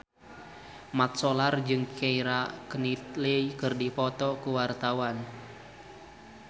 Mat Solar jeung Keira Knightley keur dipoto ku wartawan